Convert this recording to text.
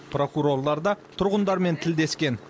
прокурорлар да тұрғындармен тілдескен